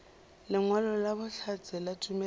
lengwalo la bohlatse la tumelelo